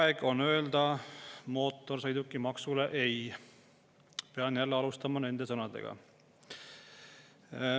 "Aeg on öelda mootorsõidukimaksule ei!"– pean jälle alustama nende sõnadega.